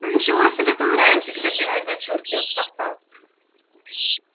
ничего себе ты вариантик любимой дочурке откопал